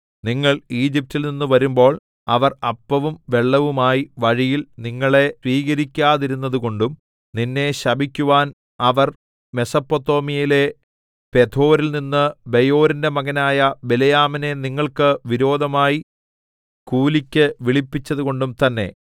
നിങ്ങൾ ഈജിപ്റ്റിൽനിന്നു വരുമ്പോൾ അവർ അപ്പവും വെള്ളവുമായി വഴിയിൽ നിങ്ങളെ സ്വീകരിക്കാതിരുന്നതുകൊണ്ടും നിന്നെ ശപിക്കുവാൻ അവർ മെസൊപൊത്താമ്യയിലെ പെഥോരിൽനിന്ന് ബെയോരിന്റെ മകനായ ബിലെയാമിനെ നിങ്ങൾക്ക് വിരോധമായി കൂലിയ്ക്കു വിളിപ്പിച്ചതുകൊണ്ടും തന്നെ